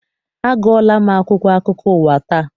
Agụọla m akwụkwọ akụkọ ụwa taa.